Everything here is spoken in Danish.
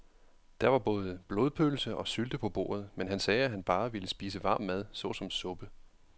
Der var både blodpølse og sylte på bordet, men han sagde, at han bare ville spise varm mad såsom suppe.